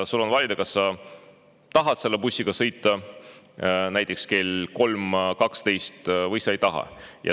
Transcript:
Sul on valida, kas sa tahad selle bussiga näiteks kell 3.12 sõita või sa ei taha.